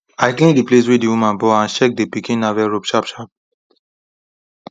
i clean the place wey the woman born and check the pikin navel rope sharp sharp